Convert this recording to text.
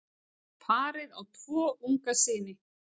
Parið á tvo unga syni.